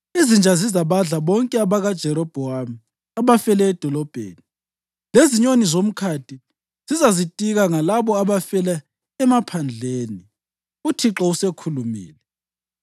Izinja zizabadla bonke abakaJerobhowamu abafele edolobheni, lezinyoni zemkhathini zizazitika ngalabo abafela emaphandleni. UThixo usekhulumile!’